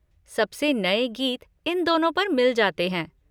सबसे नये गीत इन दोनों पर मिल जाते हैं।